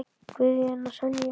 Guðjón og Sonja.